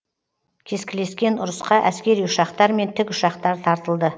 кескілескен ұрысқа әскери ұшақтар мен тікұшақтар тартылды